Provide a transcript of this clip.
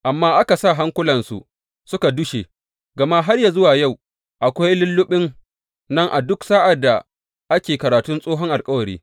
Amma aka sa hankulansu suka dushe, gama har yă zuwa yau akwai lulluɓin nan a duk sa’ad da ake karatun tsohon alkawari.